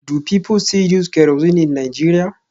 Do people still use kerosene in Nigeria?